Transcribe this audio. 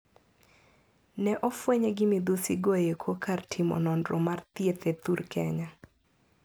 Ne ofwenye gi midhusi go eko kar timo nonro mar thieth e thur Kenya.